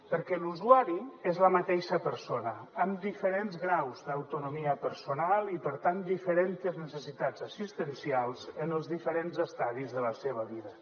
perquè l’usuari és la mateixa persona amb diferents graus d’autonomia personal i per tant diferentes necessitats existencials en els diferents estadis de la seva vida